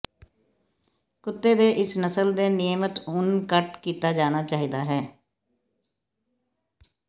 ਕੁੱਤੇ ਦੇ ਇਸ ਨਸਲ ਦੇ ਨਿਯਮਿਤ ਉੱਨ ਕੱਟ ਕੀਤਾ ਜਾਣਾ ਚਾਹੀਦਾ ਹੈ